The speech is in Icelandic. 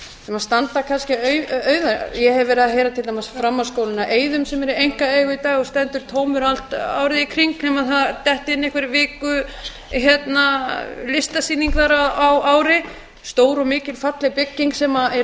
sem standa kannski auð ég hef verið að heyra til dæmis um framhaldsskólann á eiðum sem er í einkaeigu í dag og stendur tómur allt árið um kring nema það dettur inn einhver viku listasýning þar ár ári stór og mikil falleg bygging sem í